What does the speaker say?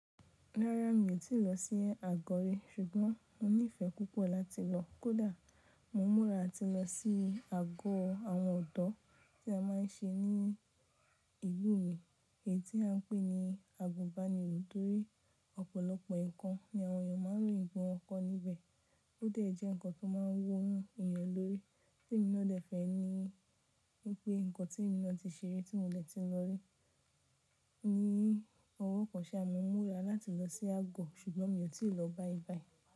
Rárá mi tíì lọ sí àgó rí ṣùgbọ́n mo nífẹ̀ẹ́ púpọ̀ láti lọ. Kódà mo múra ati lọ sí àgó àwọn ọ̀dọ́ tí a máa ń ṣe ní ìlú mi èyí tí à ń pè ní agubàniró torí ọ̀pọ̀lọpọ̀ nnkan ní àwọn èèyàn máa ń royin pe wọn kọ́ níbẹ̀. Ó dẹ̀ jẹ́ ǹkan tó máa ń wu èèyàn lórí. Tí emi na dẹ̀ fẹ́ ẹ ni wípé ǹkan tí emi ná ti ṣe ri tí mò dẹ ti lọ rí ni ọwọ́ kan ṣe à máa múra láti lọ sí àgó ṣùgbọ́n mi ò tíì lọ báyìí báyìí.